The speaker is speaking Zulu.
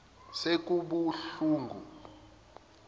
sekubuhlungu